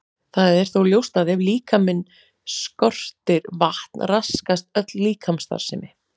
Það er þó ljóst að ef líkamann skortir vatn raskast öll líkamsstarfsemi.